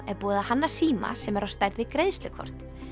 er búið að hanna síma sem er á stærð við greiðslukort